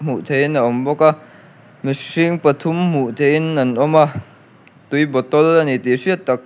hmuh theih in a awm bawk a mihring pathum hmuh theih in an awm a tui bottle ani tih hriat tak.